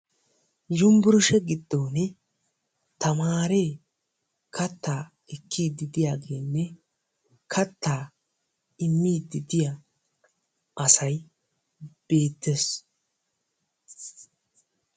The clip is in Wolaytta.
Yunbburssgiya giddon tamaarw katat ekkiddi diyaagenne kattaa immiddi diya asay beetees.